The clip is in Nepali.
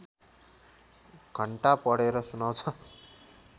घण्टा पढेर सुनाउँछ